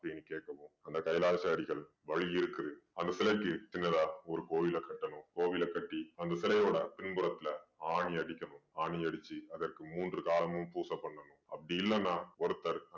அப்படீன்னு கேட்கவும் அந்த கைலாச அடிகள் வழி இருக்குது அந்த சிலைக்கு சின்னதா ஒரு கோயில கட்டணும். கோவில கட்டி அந்த சிலையோட பின் புறத்துல ஆணி அடிக்கணும். ஆணி அடிச்சு அதற்கு மூன்று காலமும் பூசை பண்ணணும். அப்படி இல்லன்னா ஒருத்தர்